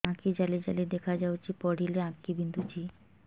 ଆଖି ଜାଲି ଜାଲି ଦେଖାଯାଉଛି ପଢିଲେ ଆଖି ବିନ୍ଧୁଛି